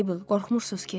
Mabel, qorxmursunuz ki?